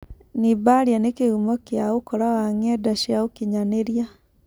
Nibaria nĩ-kĩhumo kĩa ũkora wa-ng'enda cia ũkinyanĩria.